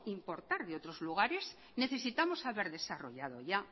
importar de otros lugares necesitamos haber desarrollado ya